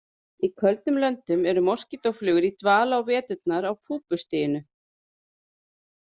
Í köldum löndum eru moskítóflugur í dvala á veturnar á púpustiginu.